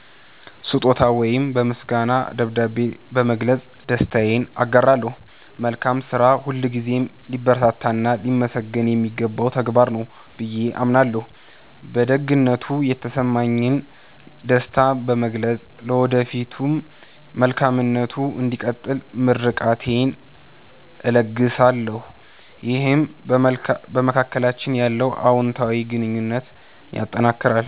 ስጦታ ወይም በምስጋና ደብዳቤ በመግለጽ ደስታዬን አጋራለሁ። መልካም ስራ ሁልጊዜም ሊበረታታና ሊመሰገን የሚገባው ተግባር ነው ብዬ አምናለሁ። በደግነቱ የተሰማኝን ደስታ በመግለጽ፣ ለወደፊቱም መልካምነቱ እንዲቀጥል ምርቃቴን እለግሳለሁ። ይህም በመካከላችን ያለውን አዎንታዊ ግንኙነት ያጠናክራል።